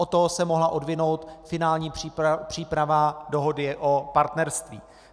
Od toho se mohla odvinout finální příprava dohody o partnerství.